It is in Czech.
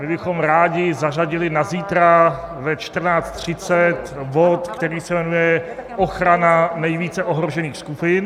My bychom rádi zařadili na zítra ve 14.30 bod, který se jmenuje "ochrana nejvíce ohrožených skupin".